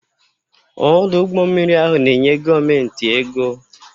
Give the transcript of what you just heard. Ọdụ ụgbọ mmiri ahụ na-enye gọọmentị ego.